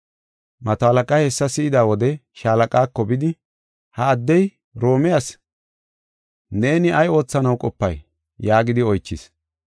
Mato halaqay hessa si7ida wode shaalaqaako bidi, “Ha addey Roome asi. Neeni ay oothanaw qopay?” yaagidi oychis.